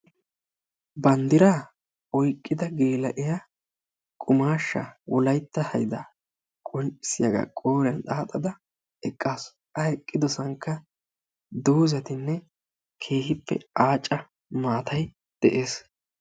Banddira oyqqida geella''iya qummashsha wolaytta haydda qonccissiyaagaa qooriyan xaaxada eqqaasu. A eqqidosankka doozatinne keehippe aacca maatay de'ees